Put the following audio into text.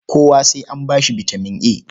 Kowa sai an ba shi bitaman A?